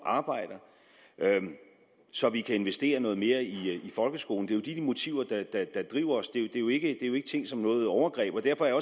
at arbejde så vi kan investere noget mere i folkeskolen det er jo de motiver der driver os det er jo ikke tænkt som noget overgreb derfor er